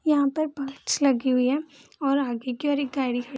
यहां पर पक्ष लगी हुई है और आगे की और एक गाड़ी खड़ी --